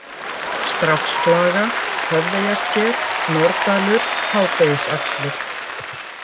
Stráksflaga, Höfðeyjarsker, Norðdalur, Hádegisaxlir